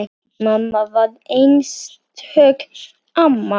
Mamma var einstök amma.